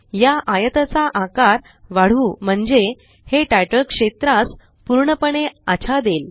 या आयताचा आकार वाढवू म्हणजे हे तितले क्षेत्रास पूर्णपणे आच्छादेल